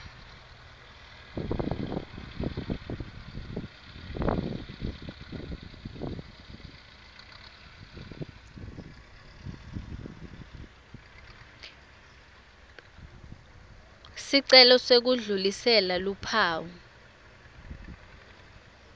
sicelo sekudlulisela luphawu